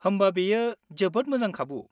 होमबा बेयो जोबोद मोजां खाबु।